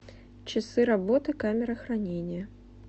часы работы камеры хранения